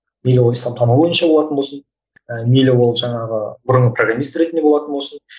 мейлі ол исламтану бойынша болатын болсын ыыы мейлі ол жаңағы бұрынғы программист ретінде болатын болсын